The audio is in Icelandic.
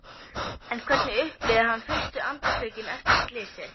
Hún hefur tekið hárið upp í hnút í hnakkanum.